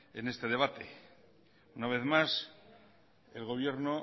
en este debate una vez más el gobierno